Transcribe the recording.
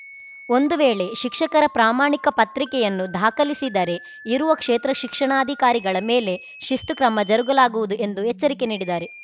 ಒಂದು ವೇಳೆ ಶಿಕ್ಷಕರ ಪ್ರಾಮಾಣಿಕ ಪತ್ರಿಕೆಯನ್ನು ದಾಖಲಿಸಿದರೆ ಇರುವ ಕ್ಷೇತ್ರ ಶಿಕ್ಷಣಾಧಿಕಾರಿಗಳ ಮೇಲೆ ಶಿಸ್ತು ಕ್ರಮ ಜರುಗುಲಾಗುವುದು ಎಂದು ಎಚ್ಚರಿಕೆ ನೀಡಿದ್ದಾರೆ